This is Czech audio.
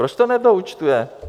Proč to nedoúčtuje?